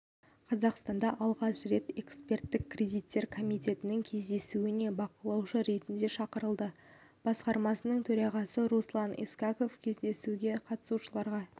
қазақстан алғаш рет эксперттік кредиттер комитетінің кездесуіне бақылаушы ретінде шақырылды басқармасының төрағасы руслан искаков кездесуге қатысушыларға